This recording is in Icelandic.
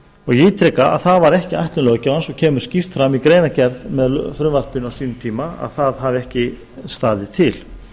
ég ítreka að það var ekki ætlun löggjafans og kemur skýrt fram í greinargerð með frumvarpinu á sínum tíma að það hafi ekki staðið til